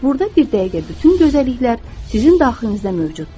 Burda bir dəqiqə bütün gözəlliklər sizin daxilinizdə mövcuddur.